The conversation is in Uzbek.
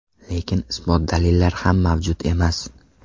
Lekin isbot-dalillar ham mavjud emas.